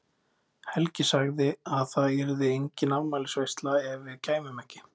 Helgi sagði að það yrði engin afmælisveisla ef við kæmum ekki.